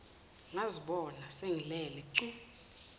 ngazibona sengilele cu